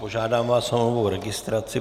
Požádám vás o novou registraci.